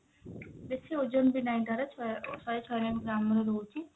ବେଶି ଓଜନ ବି ନାହିଁ ତାର ଛ ଶହେ ଛୟାନବେ gram ର ରହୁଛି